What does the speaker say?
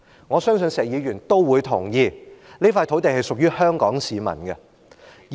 我相信石議員都同意，這塊土地是屬於香港市民的。